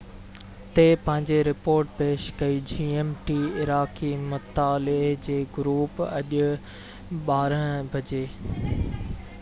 عراقي مطالعي جي گروپ اڄ 12.00 gmt تي پنهنجي رپورٽ پيش ڪئي